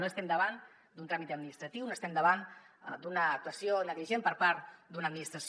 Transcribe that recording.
no estem davant d’un tràmit administratiu no estem davant d’una actuació negligent per part d’una administració